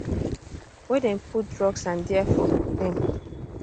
wey dem put drugs and diafor dem